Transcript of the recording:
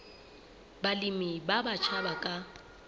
balemi ba batjha ba ka